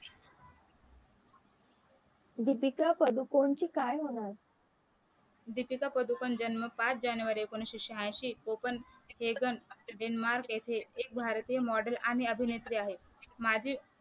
दीपिका पादुकोणचे काय होणार दीपिका पादुकोण जन्म पाच जनवरी एकोणीशे सह्यांशी कोपन हेगंन डेन्मार्क येथे एक भारतीय मॉडेल आणि अभिनेत्री आहे